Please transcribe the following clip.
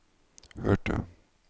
hørte